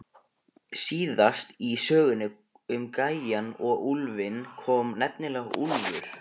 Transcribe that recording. Síðast í sögunni um gæjann og úlfinn kom nefnilega úlfur.